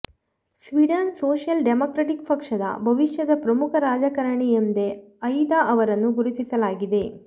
ಸ್ವೀಡನ್ನ social democratic ಪಕ್ಷದ ಭವಿಷ್ಯದ ಪ್ರಮುಖ ರಾಜಕಾರಣಿ ಎಂದೇ ಐದಾ ಅವರನ್ನು ಗುರುತಿಸಲಾಗಿದೆ